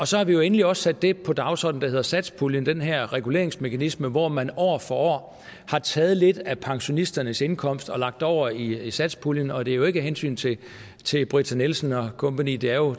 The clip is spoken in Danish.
så har vi jo endelig også sat det på dagsordenen der hedder satspuljen den her reguleringsmekanisme hvor man år for år har taget lidt af pensionisternes indkomst og lagt over i satspuljen og det er jo ikke af hensyn til til britta nielsen og kompagni det er jo